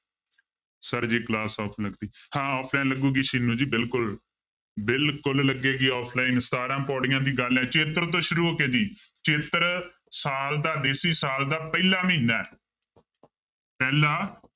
Sir ਜੀ class offline ਹਾਂ offline ਲੱਗੇਗੀ ਸਿੰਨੂ ਜੀ ਬਿਲੁਕੁਲ ਬਿਲਕੁਲ ਲੱਗੇਗੀ offline ਸਤਾਰਾਂ ਪਾਉੜੀਆਂ ਦੀ ਗੱਲ ਹੈ ਚੇਤਰ ਤੋਂ ਸ਼ੁਰੂ ਹੋ ਕੇ ਜੀ ਚੇਤਰ ਸਾਲ ਦਾ ਦੇਸੀ ਸਾਲ ਦਾ ਪਹਿਲਾ ਮਹੀਨਾ ਹੈ ਪਹਿਲਾ